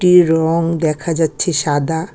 এর রং দেখা যাচ্ছে সাদা।